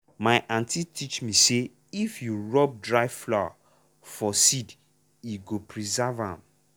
my aunty teach me say if you rub dry flour for seed e go preserve am.